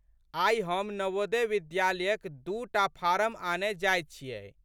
आइ हम नवोदय विद्यालयक दू टा फारम आनए जाइत छियै।